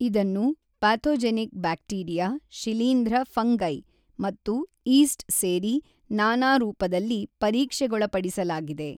ಇದನ್ನು pathogenic bacteria, ಶಿಲೀಂಧ್ರ fungi ಮತ್ತು ಈಸ್ಟ್ ಸೇರಿ ನಾನಾ ರೂಪದಲ್ಲಿ ಪರೀಕ್ಷೆಗೊಳಪಡಿಸಲಾಗಿದೆ.